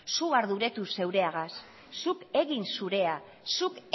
zuk arduratu zeureagaz zuk egin zurea zuk